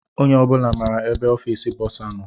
Onye obula maara ebe ọfiisi bọsa nọ.